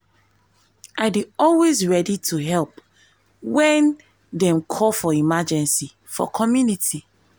i dey always ready to help when dem call for emergency for community.